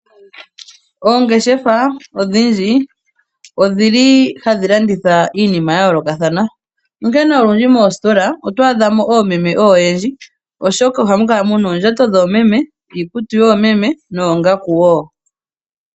Oongeshefa odhindji odhili hadhi landitha iinima ya yolokathana onkene olundji moositola oto adha mo oomeme oyendji oshoka ohamu kala muna oondjato dhoomeme, iikutu yoomeme noongaku wo.